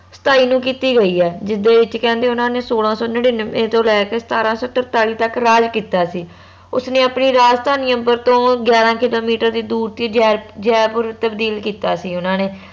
ਸਤਾਈ ਨੂੰ ਕਿੱਤੀ ਗਯੀ ਆ ਜਿਸਦੇ ਵਿਚ ਕਹਿੰਦੇ ਓਨਾ ਨੇ ਸੋਲਾਂ ਸੋ ਨਿਨਿਨਵੇ ਤੋਂ ਲੈਕੇ ਸਤਾਰਾਂ ਸੋ ਤਰਤਾਲੀ ਤਕ ਰਾਜ ਕੀਤਾ ਸੀ ਉਸ ਨੇ ਆਪਣੀ ਰਾਜਧਾਨੀਆਂ ਅੰਬਰ ਤੋਂ ਗਿਆਰਾਂ ਕਿੱਲੋਮੀਟਰ ਦੀ ਦੂਰ ਤੇ ਜੇ ਜੈਪੁਰ ਤਬਦੀਲ ਕੀਤਾ ਸੀ ਓਨਾ ਨੇ